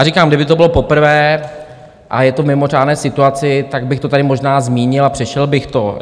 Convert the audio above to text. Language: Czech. A říkám, kdyby to bylo poprvé a je to v mimořádné situaci, tak bych to tady možná zmínil a přešel bych to.